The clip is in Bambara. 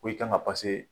Ko i kan ka